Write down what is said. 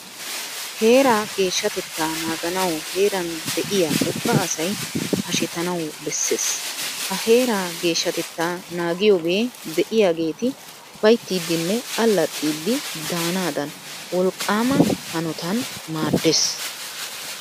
Heeraa geeshshatettaa naaganawu heeran de'iya ubba asay hashetanawu bessees. Ha heeraa geeshshatettaa naagiyogee de'iyageeti ufayttidinne allaxxidi daanaadan wolqqaama hanotan maaddees.